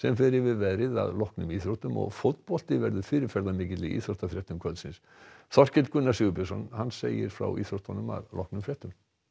fer yfir veðrið að loknum íþróttum fótbolti verður fyrirferðarmikill í íþróttafréttum kvöldsins Þorkell Gunnar Sigurbjörnsson segir frá íþróttum að loknum fréttum